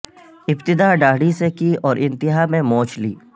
ابتدا ڈاڑھی سے کی اور انتہا میں مونچھ لی